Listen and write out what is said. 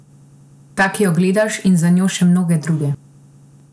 Ta, ki jo gledaš, in za njo še mnoge mnoge druge.